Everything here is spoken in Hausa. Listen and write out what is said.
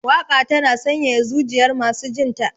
Waka tana sanyaya zujiyar masu jinta.